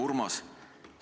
Hea Urmas!